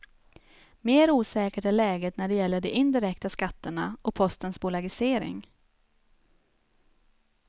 Mer osäkert är läget när det gäller de indirekta skatterna och postens bolagisering.